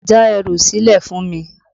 Já ẹrù sílẹ̀ fún mi!